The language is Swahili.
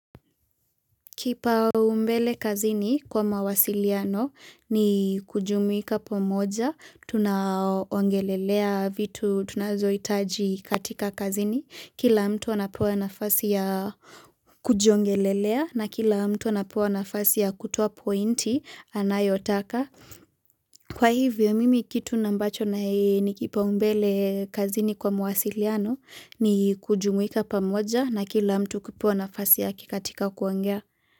Kipaumbele kazini kwa mawasiliano ni kujumuika pamoja, tunaongelelea vitu tunazohitaji katika kazini, kila mtu anapewa na mfasi ya kujiongelelea na kila mtu anapewa nafasi ya kutuwa pointi anayotaka. Kwa hivyo mimi kitu na ambacho na hei ni kipaumbele kazini kwa mawasiliano ni kujumuika pamoja na kila mtu kipewa nafasi ya katika kuongea.